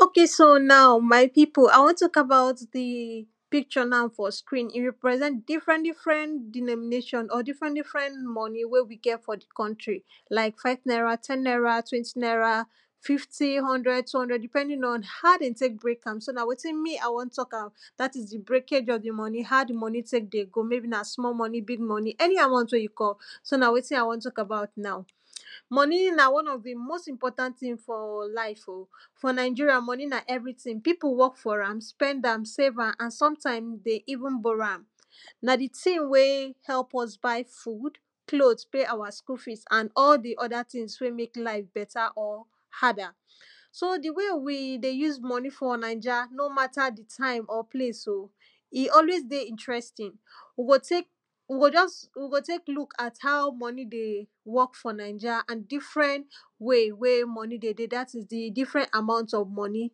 okay so now my people I want to about di picture now for screen. e represent di difrent different denomination or different different money wey we get for di country. like five naira, ten naira, twenty naira, fifty, hundred, two hundred, depending on how dem take break am so na wetin me I want talk how dat is di breakage of di money. how di money take dey go maybe na small money, big money any, amount wey get so na wetin I want talk about now money na one of di most important thing for life. for Nigeria money na everything, people work for am, spend am, save am and sometime dey even borrow am. na di things wey help us buy food, clothes and pay our school fees and all di other thing wey make life better or harder. so di way we dey use money for Naija nor matter di time or place oh, e always dey interesting. we go take we go just we go take look at how money dey work for Naija and di different way wey money dey dey, dat is di different amount of money.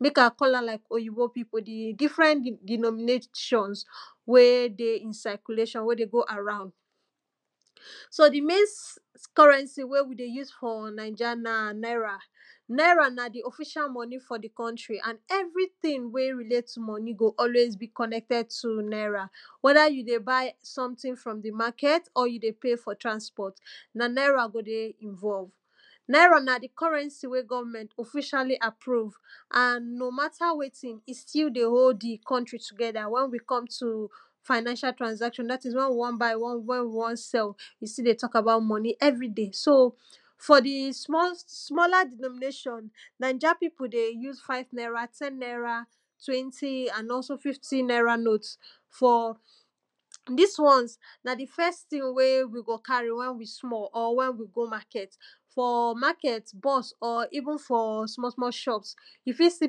make I call am like oyibo people di different denomination wey dey circulation, wey dey go around. so di main [2] currency wey we use for Naija na naira. naira na di official money for di country and everything wey relate to money go always be connected to naira. wether you dey buy something from di market or you dey pay for transport na naira go dey involve naira. na di currency when government officially approve and no matter wetin e still dey hold di country together when we come to financial transaction. dat is when we wan buy and when we wan sell we still dey talk about money every day so for di small smaller denomination, Naija people dey use five naira, ten naira, twenty and also fifty naira notes for, dis ones, na di first thing wey we go carry when we small or when we go market. for market bus or even for small small shops. you fit see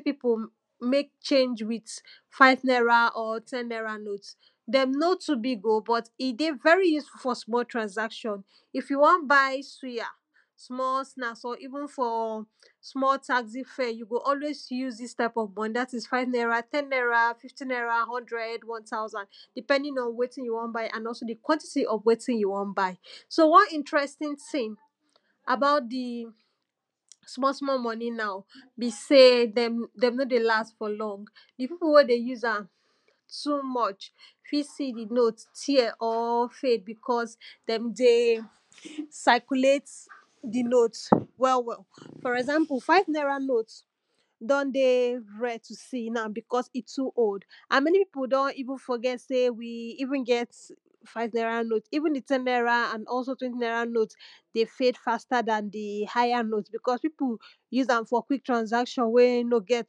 people make change with five naira or ten naira notes. dem nor too big oh, but e dey very useful for small transaction. if you wan buy suya, small snacks or even for small taxy fare, you go always use dis type of money dat is five naira, ten naira, fifty naira, hundred, one thousand, depending on wetin you wan buy and also di quantity of wetin you wan buy. so one interesting thing about di small small money now be sey, dem nor dey last for long di people wey dey use am too much you fit see di note tear or fade because dem dey circulate di note well well. for example five naira note now don dey rare to see now. because e too old and many people sef don even forget sey we even get five naira note, even ten naira and also twenty naira note dey fade faster dan di higher notes. because people dey use am for quick transaction wey nor get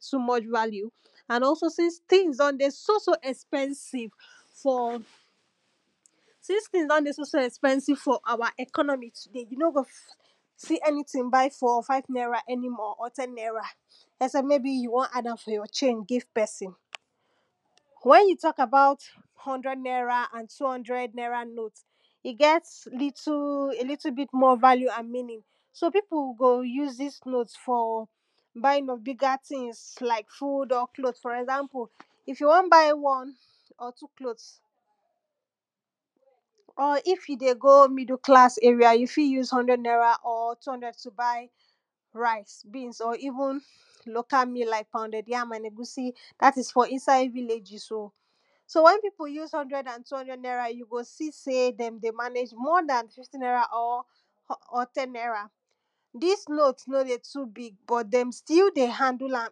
too much value. and also since things don dey so so expensive for since things don dey so so expensive for our economy today, you nor go see any thing buy for five naira any more or ten naira. except maybe you wan add for your change give person. wen you talk about hundred naira and two hundred naira note, e get little a little bit more value and meaning. so people go use dis note for buying of bigger things like food or clothe for example, if you want buy one or two clothes, or if you dey go middle class area you fit use hundred naira or two hundred to buy rice beans or even local meal like pounded yam and egusi dat is for inside villages oh, so when people use hundred and two hundred naira you go see dem dey manage more dan fifty naira or ten naira dis note nor dey too big but dem still dey handle am.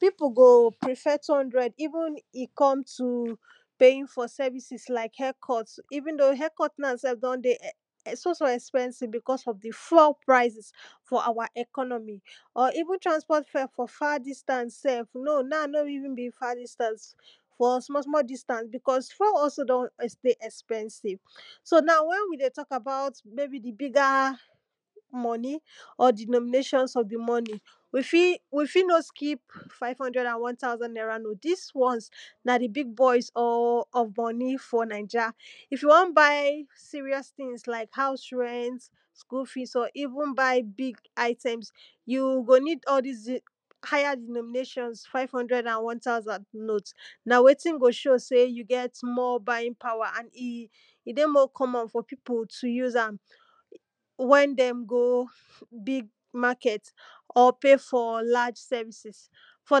people go prefer two hundred even when e come to paying for services like haircut. even though haircut na don dey e so so expensive because of fuel prices for our economy or even transport fare for far distance no now no even be far distance. for small small distance. because fuel also don dey expensive so now when we dey talk about maybe bigger money or denominations of di money we fit we fit no skip five hundred and one thousand naira note dis ones na di big boys or of money for Naija. if you want buy serious things like house rent, school fess or even buy big items, you go need all dis den higher denominations five hundred and one thousand note. na wetin go show sey you get more buying power and e e dey more common for people to use am when dem go big market or pay for large services. for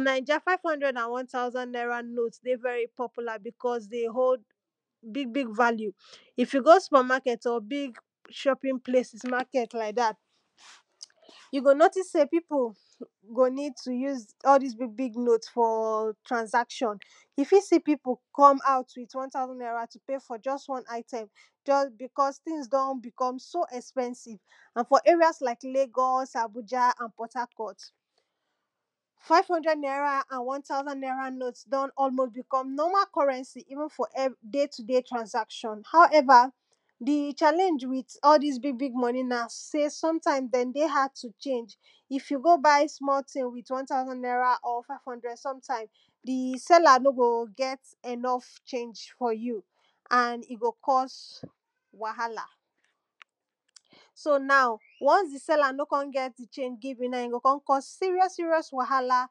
Naija five hundred and one thousand naira note dey very popular because dey hold big big value if you go super market or big chopping place market like dat you go notice sey people go need to use all dis big big note for transaction. you fit see people come out with one thousand naira to pay for just one item, just because things don became so so expensive and for areas like Lagos, Abuja and port Harcourt, five hundred naira and one thousand naira note don almost become normal currency even for day to day transaction. however, di challenge with all dis big big money na sey sometime dem dey hard to change. if you go buy small thing with one thousand naira or five hundred sometime di seller nor go get enough change for you and e go cause wahala. so now once the seller nor come get the change give you now e go cause serious serious wahala,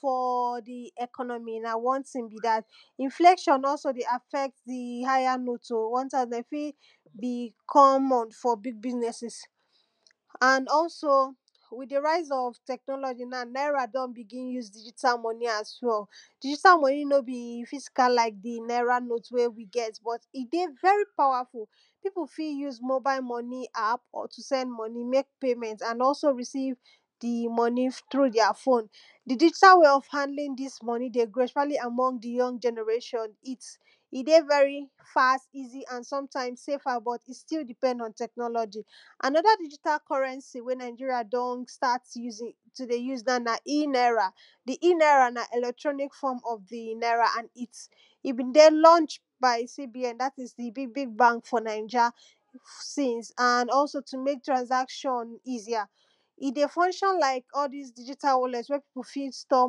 for di economy now one thing be dat. inflation also dey affect di higher note oHh, one time dem fit be common for big businesses. and also with di rise of technology now naira don begin use digital money as well digital money nor be physical like di naira note wey we get but e dey very powerful people fit use mobile money app to send money make paymeny and also recieve di? money through their phone, digital way of handling dis money dey grow especially among di young generation. its e dey very fast easy and sometime safer but e still depend on technology. another digital currency wey Nigerian don start using to dey use now na e-naira, di e-naira na electronic form of di naira and its e been dey launched by C.B.N dat is di big big bank for Naija. since and and also to make transaction easier, e dey function like all dis digital wallet when people fit store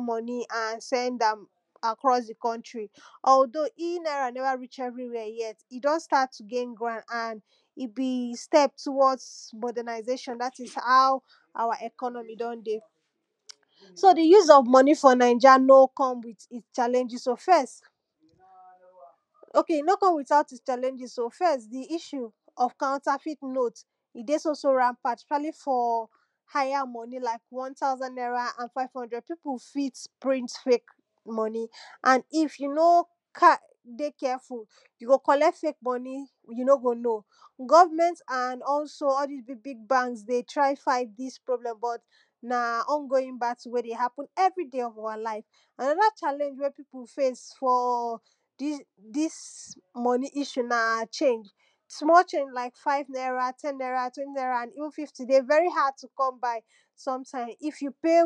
money and send am across di country. although e-naira never reach everywhere yet e don start to dey gain ground and e be step towards mordernization dat is how our economy don dey. so di use of money for Naija no come with it chanlenges oh, first; okay no come without chanllenges oh, first; di issue of counterfit note e dey so so rampant especially for higher money like one thousand naira and five hundred. people fit print fake money and if you nor [2] dey careful you go collect fake money you nor go know. government and all dis big big banks dey try fight dis problem but na ongoing battle wey dey happen for every day of our life. another challenge wey people face for dis dis money issue na change. small change like five naira, ten naira, twenty naira and even fifty dey very hard to come find. some time if you pay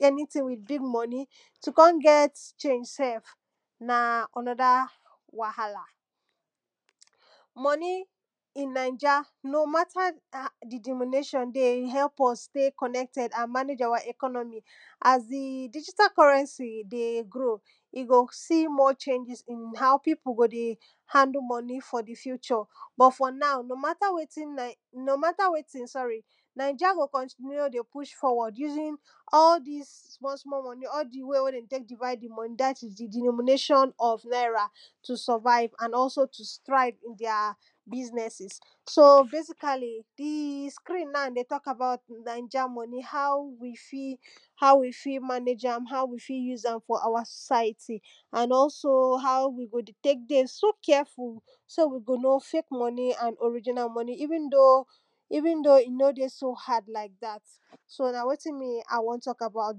anything with big money to come get change sef na another wahala. money in Naija, no matter how di denomination dey help us stay connected and manage our economy. as di digital currency dey grow, you go see more changes in how people dey handle money for di future. but for now, no matter wetin now no matter wetin sorry Naija go continue dey push forward using all dis small small money all di wey when dem take divide di money dat is di denomination of naira to survive and also to strive in their businesses. so basically, di screen now dey talk about di Naija money how we fit manage am how we fit use am for our society. dey so how we go dey so careful so we go know fake money and original money even though even though e no dey so hard like dat. so na wetin me I wan talk about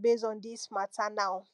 base on dis matter now.